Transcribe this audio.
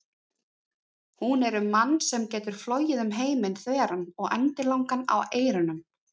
Hún er um mann sem getur flogið um heiminn þveran og endilangan á eyrunum.